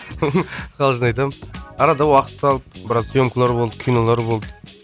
қалжың айтамын арада уақыт салып біраз сьемкалар болды кинолар болды